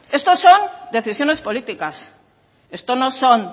esto son decisiones políticas esto no son